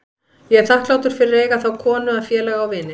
Ég er þakklátur fyrir að eiga þá konu að félaga og vini.